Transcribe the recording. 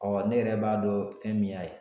ne yɛrɛ b'a dɔn fɛn min y'a ye.